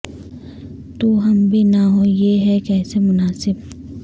تو ہم بھی نہ ہوں یہ ہے کیسے مناسب